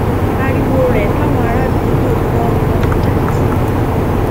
ariwo rẹ táwọn àràádúgbò gbọ ni wọn fi jáde síta